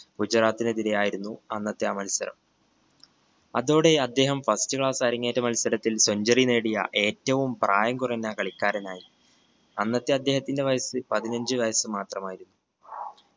ഗുജറാത്തിനെതിരെ ആയിരുന്നു അന്നത്തെ ആ മത്സരം അതോടെ അദ്ദേഹം first class അരങ്ങേറ്റ മത്സരത്തിൽ centuary നേടിയ ഏറ്റവും പ്രായം കുറഞ്ഞ കളിക്കാരനായി. അന്നത്തെ അദ്ദേഹത്തിന്റെ വയസ്സ് പതിനഞ്ചു വയസ്സ് മാത്രമായിരുന്നു